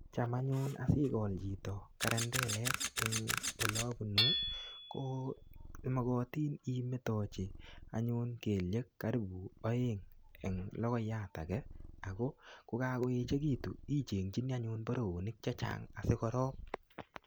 Cham anyun asigol chito karandilek eng olabunu ko mogotin imetochi anyun keliek karipu aeng eng kogoiyat age ko kagoechegitu ichengchini anyun boroinik che chang asigorop.